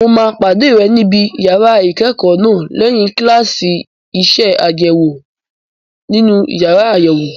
Mo máa pàdé rẹ níbi yàrá ìkẹ́kọ̀ọ́ náà lẹ́yìn kíláàsì iṣẹ́ àṣewò nínú yàrá àyẹ̀wò.